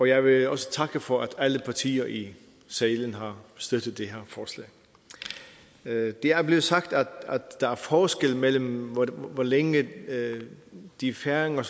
jeg vil også takke for at alle partier i salen har støttet det her forslag det er blevet sagt at der er forskel mellem hvor længe de færinger